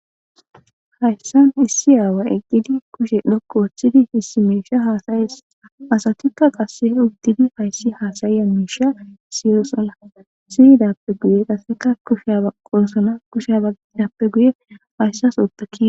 hayssan issi aawa eqqidi kushe dhokku wooththidi hissi miisha haasayees asatikka qasse ugtidi hayssi haasayiya miisha siyoosola siyidappe guye qaseka kushea qoosona kusha bagidappe guye hayssas otta ki